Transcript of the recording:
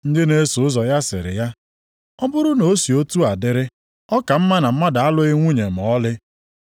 Ndị na-eso ụzọ ya sịrị ya, “Ọ bụrụ na o si otu a dịrị, ọ ka mma na mmadụ alụghị nwunye ma ọlị.”